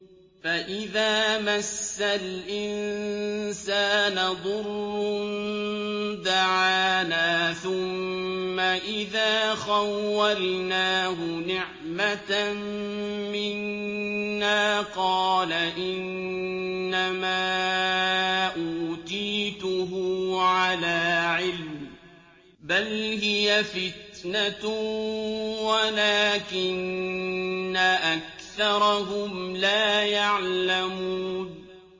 فَإِذَا مَسَّ الْإِنسَانَ ضُرٌّ دَعَانَا ثُمَّ إِذَا خَوَّلْنَاهُ نِعْمَةً مِّنَّا قَالَ إِنَّمَا أُوتِيتُهُ عَلَىٰ عِلْمٍ ۚ بَلْ هِيَ فِتْنَةٌ وَلَٰكِنَّ أَكْثَرَهُمْ لَا يَعْلَمُونَ